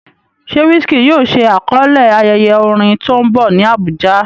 Ṣé Wizkid yóò ṣe àkọlé ayẹyẹ orin tó ń bọ̀ ní Abuja?